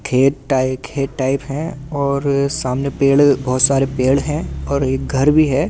खेत टाइप खेत टाइप है और सामने पेड़ बहुत सारे पेड़ हैं और एक घर भी है ।